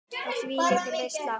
Og þvílík veisla!